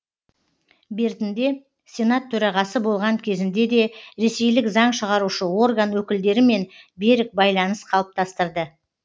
бертінде сенат төрағасы болған кезінде де ресейлік заң шығарушы орган өкілдерімен берік байланыс қалыптастырды